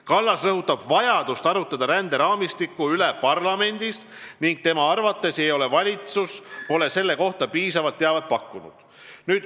Kallas rõhutab vajadust arutleda ränderaamistiku üle parlamendis ning tema arvates ei ole valitsus selle kohta piisavat teavet pakkunud.